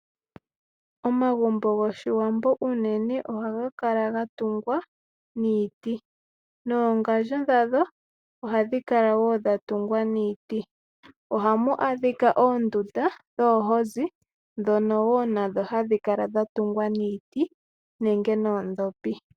Omagumbo goshiwambo unene ohaga kala gatungwa niiti, noongandjo dhago ohadhi kala woo dha tungwa niiti, ohamu kala woo oondunda dhoohozi dhono woo hadhi kala dha tungwa niiti nenge noodhopi.